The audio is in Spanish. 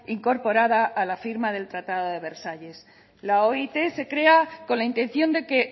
incorporada a la firma del tratado de versalles la oit se crea con la intención de que